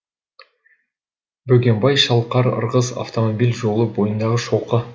бөгенбай шалқар ырғыз автомобиль жолы бойындағы шоқы